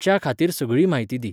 च्याखातीर सगळी म्हायती दी